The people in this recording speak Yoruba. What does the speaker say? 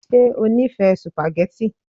Ṣe o nifẹ sùpàgẹ́tì?